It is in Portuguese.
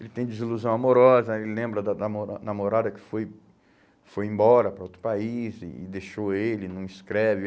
Ele tem desilusão amorosa, ele lembra da da namora namorada que foi foi embora para outro país e deixou ele, não escreve.